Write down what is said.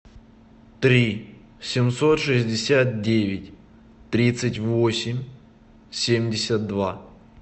три семьсот шестьдесят девять тридцать восемь семьдесят два